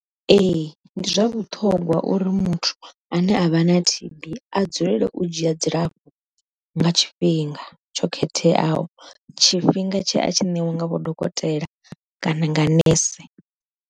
Ee ndi zwa vhuṱhongwa uri muthu ane a vha na T_B a dzulele u dzhia dzilafho nga tshifhinga, tsho khetheaho tshifhinga tshe a tshi ṋewa nga vho dokotela kana nga nese.